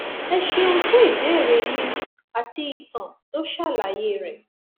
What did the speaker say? ẹ ṣeun fún ìbéèrè yín àti ìtàn tó ṣàlàyé rẹ